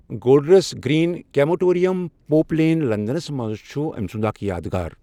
Golders Green crematorium, پوُپ Lane, لندنَس منٛز چھُ أمۍ سُنٛد اكھ یادگار۔